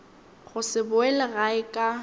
go se boele gae ka